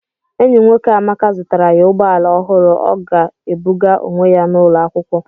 Enyi nwoke Amaka zụtara ya ụgbọ ala ọhụrụ ọ ga-ebuga onwe ya n'ụlọ akwụkwọ.